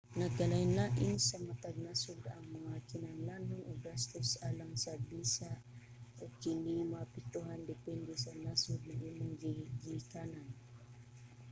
nagkalain-lain sa matag nasod ang mga kinahanglanon ug gastos alang sa bisa ug kini maapektuhan depende sa nasod na imong gigikanan